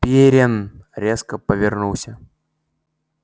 пиренн резко повернулся